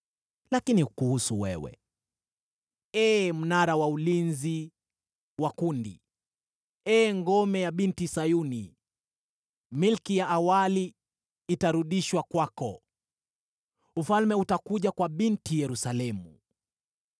Lakini kuhusu wewe, ee mnara wa ulinzi wa kundi, ee ngome ya Binti Sayuni, milki ya awali itarudishwa kwako, ufalme utakuja kwa Binti Yerusalemu.”